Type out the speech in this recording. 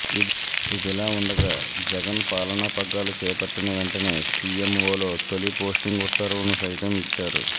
ఇదిలా ఉండగా జగన్ పాలనా పగ్గాలు చేపట్టిన వెంటనే సీఎంవోలో తొలి పోస్టింగ్ ఉత్తర్వును సైతం ఇచ్చారు